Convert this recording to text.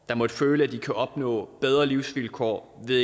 der måtte føle at de kan opnå bedre livsvilkår ved